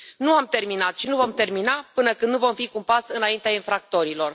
Nu am terminat și nu vom termina până când nu vom fi cu un pas înaintea infractorilor.